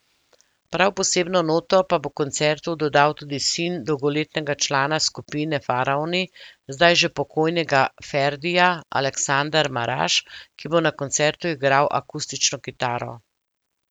Prav posebno noto pa bo koncertu dodal tudi sin dolgoletnega člana skupine Faraoni, zdaj že pokojnega Ferdija, Aleksander Maraž, ki bo na koncertu igral akustično kitaro.